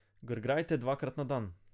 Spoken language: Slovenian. Grgrajte dvakrat na dan.